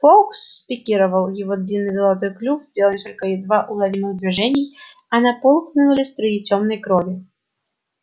фоукс спикировал его длинный золотой клюв сделал несколько едва уловимых движений и на пол хлынули струи тёмной крови